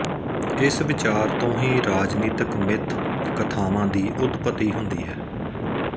ਇਸ ਵਿਚਾਰ ਤੋਂ ਹੀ ਰਾਜਨੀਤਿਕ ਮਿੱਥ ਕਥਾਵਾਂ ਦੀ ਉਤਪਤੀ ਹੁੰਦੀ ਹੈ